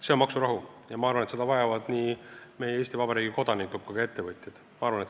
See on maksurahu ja ma arvan, et seda vajavad nii meie Eesti Vabariigi kodanikud kui ka ettevõtjad.